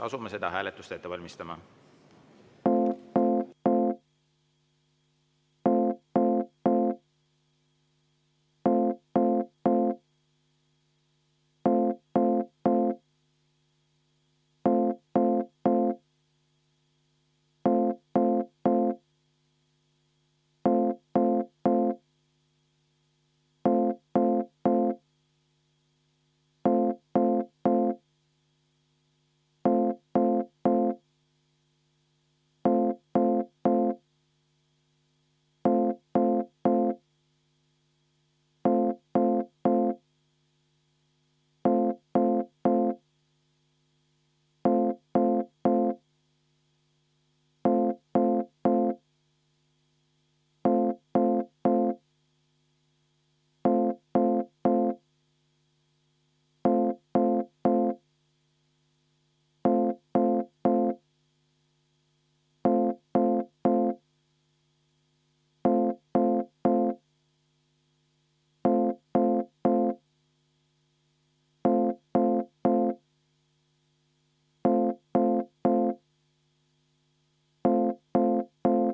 Asume seda hääletust ette valmistama.